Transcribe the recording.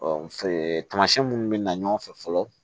tamasiɛn minnu mi na ɲɔgɔn fɛ fɔlɔ